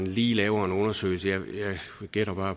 lige laver en undersøgelse jeg gætter